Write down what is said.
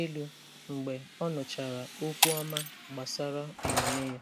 elu mgbe ọ nụchara okwu ọma gbasara omume ya.